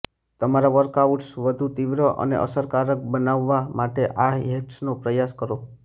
તમારા વર્કઆઉટ્સ વધુ તીવ્ર અને અસરકારક બનાવવા માટે આ હેક્સનો પ્રયાસ કરો